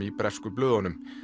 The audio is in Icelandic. í bresku blöðunum